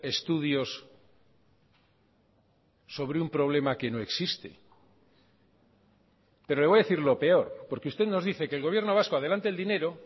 estudios sobre un problema que no existe pero le voy a decir lo peor porque usted nos dice que el gobierno vasco adelante el dinero